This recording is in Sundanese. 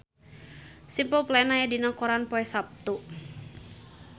Simple Plan aya dina koran poe Saptu